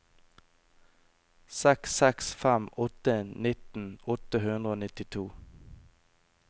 seks seks fem åtte nitten åtte hundre og nittito